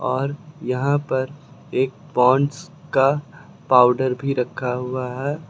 और यहां पर एक पॉन्ड्स का पाउडर भी रखा हुआ है।